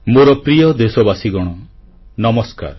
ମୋର ପ୍ରିୟ ଦେଶବାସୀଗଣ ନମସ୍କାର